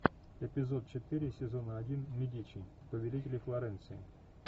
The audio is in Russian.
эпизод четыре сезона один медичи повелители флоренции